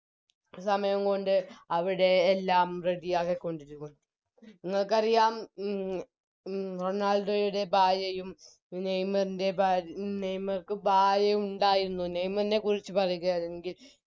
സമയം കൊണ്ട് അവിടെയെല്ലാം Ready ആക്കിക്കൊണ്ടിരിക്കുന്നു നിങ്ങക്കറിയാം ഉം ഉം റൊണാൾഡോയുടെ ഭാര്യയും നെയ്മറിൻറെ ഭാര്യ നെയ്മർക്ക് ഭാര്യയുണ്ടായിരുന്നു നെയ്മറിനെക്കുറിച്ച് പറയുകയാണെങ്കിൽ